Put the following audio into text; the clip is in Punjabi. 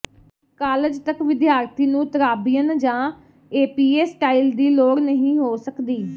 ਕਾਲਜ ਤਕ ਵਿਦਿਆਰਥੀ ਨੂੰ ਤਰਾਬੀਅਨ ਜਾਂ ਏਪੀਏ ਸਟਾਈਲ ਦੀ ਲੋੜ ਨਹੀਂ ਹੋ ਸਕਦੀ